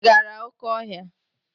Ị gara oké ọhịa?